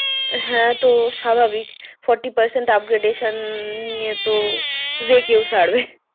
হ্যাঁ তো স্বাভাবিক। forty percent upgradation নিয়ে তো যে কেউ ছাড়বে।